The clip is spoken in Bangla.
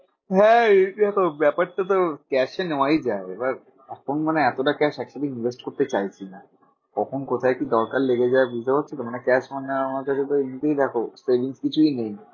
হ্যাঁ দেখো ব্যাপারটা তো cash এ নেওয়াই যায়। এবার এখন মানে এতটা cash actually invest করতে চাইছি না। কখন কোথায় কি দরকার লেগে যায় বুঝতে পারছোতো? মানে cash আমার কাছে তো এমনিতেই দেখো savings কিছুই নেই।